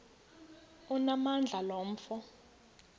onamandla lo mfo